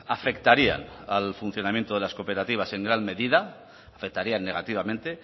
afectarían al funcionamiento de las cooperativas en gran medida afectarían negativamente